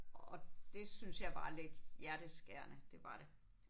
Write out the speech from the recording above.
Og det synes jeg var lidt hjerteskærende. Det var det